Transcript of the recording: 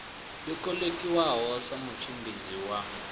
yo kolekiwaho sa mutshimbidzi wa